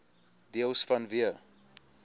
deels vanweë